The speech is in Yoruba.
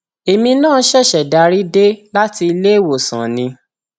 èmi náà ṣẹṣẹ darí dé láti iléèwọsàn ni